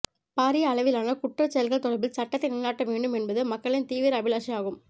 பாரிய அளவிலான குற்றச்செயல்கள் தொடர்பில் சட்டத்தை நிலைநாட்ட வேண்டும் என்பது மக்களின் தீவிர அபிலாஷையாகும்